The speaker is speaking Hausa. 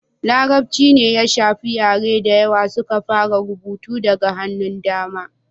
larabci ne ya shafi yare da yawa suka fara rubutu daga hannun dama